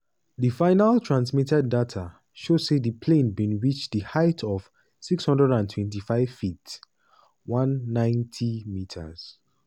di final transmitted data show say di plane bin reach a height of 625ft (190m).